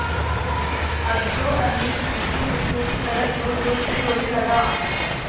अब तो अनिल ज़िद्दी बच्चों की तरह ज़ोरज़ोर से रोने लगा